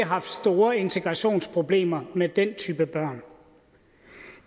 haft store integrationsproblemer med den type børn